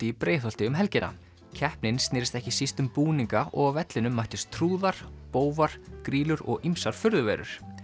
í Breiðholti um helgina keppnin snerist ekki síst um búninga og á vellinum mættust trúðar bófar grýlur og ýmsar furðuverur